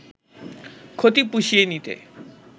ক্ষতি পুষিয়ে নিতে